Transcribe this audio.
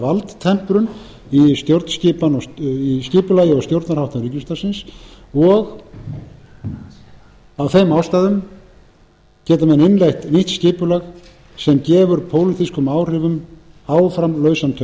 valdtemprun í stjórnskipan í skipulagi og stjórnarháttum ríkisútvarpsins og af þeim ástæðum geta menn innleitt nýtt skipulag sem gefur pólitískum áhrifum áfram lausan tauminn það er best ég fari yfir það enn einu sinni